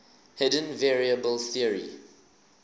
hidden variable theory